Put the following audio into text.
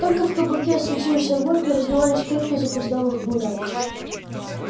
только в кабаке светился огонь и раздавались крики запоздалых гуляк